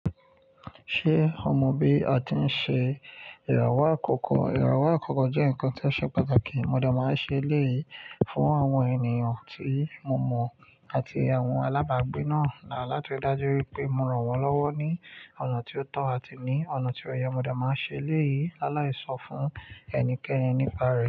Ṣé o mọ bí a ti ń ṣe ìràwọ̀ àkọ́kọ́? Ìràwọ̀ àkọ́kọ́ jẹ́ nǹkan tí ó ṣe pàtàkì. Mo dà máa ṣe eléyìí fún àwọn ènìyàn tí mo mọ̀ àti àwọn alábàágbé náà láti ri dájú wípé mo ràn wọ́n lọ́wọ́ ní ọ̀nà tó tọ́ àti ní ọ̀nà tí ó yẹ. Mo dẹ̀ máa ṣe eléyìí, lálàíṣọ fún ẹnikẹ́ni nípa rẹ̀